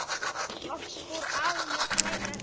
Loks fór afi með kvæði eftir sig.